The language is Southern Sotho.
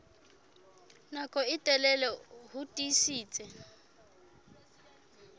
nako e telele ho tiisitse